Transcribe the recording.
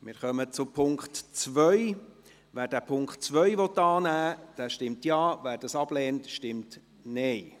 Wer den Punkt 2 annehmen will, stimmt Ja, wer diesen ablehnt, stimmt Nein.